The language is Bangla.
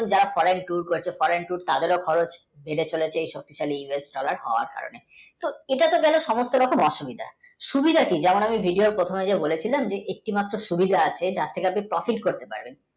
foreign tour করেছে foreign, tour তাদের খরচ বেড়ে চলেছে এই শক্তিশালী US dollar এর কারণে এটা তো গেল সমস্ত রকম অসুবিধা সুবিধা কী একটি মাত্র সুবিধা আছে তার থেকে আপনি profit করতে পারেন